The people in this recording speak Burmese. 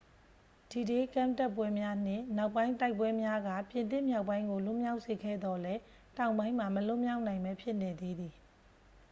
ဒီဒေး ကမ်းတက်ပွဲများ နှင့် နောက်ပိုင်းတိုက်ပွဲများက ပြင်သစ်မြောက်ပိုင်းကို လွတ်မြောက်စေခဲ့သော်လည်း တောင်ပိုင်းမှာ မလွတ်မြောက်နိုင်ဘဲ ဖြစ်နေသေးသည်